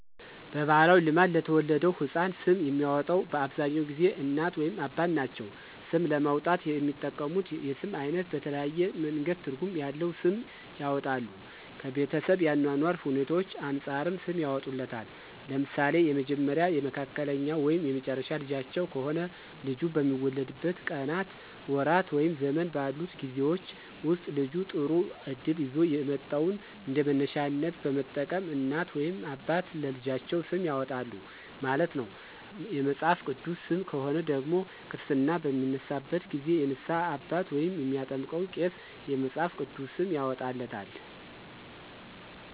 በባህላዊ ልማድ ለተወለደው ህፃን ስም የሚያወጣው በአብዛኛውን ጊዜ እናት ወይም አባት ናቸው። ስም ለማውጣት የሚጠቀሙት የስም አይነት በተለያየ መንገድ ትርጉም ያለዉ ስም ያወጣሉ። ከቤተሰብ የአኗኗር ሁኔታዎች አንፃርም ሰም ያወጡለታል። ለምሳሌ የመጀመሪያ፣ የመካከለኛ ወይም የመጨረሻ ልጃቸው ከሆነ ልጁ በሚወለድበት ቀናት፣ ወራት ወይም ዘመን ባሉት ጊዜወች ወስጥ ልጁ ጥሩ እድል ይዞ የመጣውን እንደመነሻነት በመጠቀም እናት ወይም አባት ለልጃቸው ስም ያወጣሉ ማለት ነው። የመጽሐፍ ቅዱስ ሰም ከሆነ ደግሞ ክርስትና በሚነሳበት ጊዜ የንስሃ አባት ወይም የሚያጠምቀው ቄስ የመፅሐፍ ቅዱስ ስም ያወጣለታል።